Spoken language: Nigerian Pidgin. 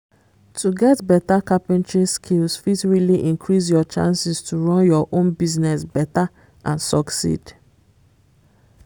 to get better carpentry skills fit really increase your chances to run your own business better and succed